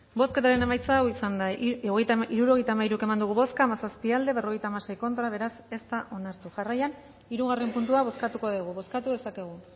bozketaren emaitza onako izan da hirurogeita hamairu eman dugu bozka hamazazpi boto aldekoa cincuenta y seis contra beraz ez da onartu jarraian hirugarren puntua bozkatuko dugu bozkatu dezakegu